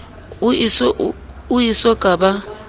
o e so ka ba